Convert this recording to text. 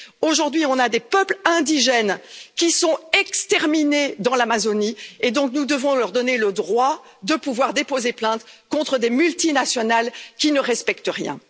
Aujourd'hui, on a des peuples indigènes qui sont exterminés dans l'Amazonie, nous devons leur donner le droit de pouvoir déposer plainte contre des multinationales qui ne respectent rien.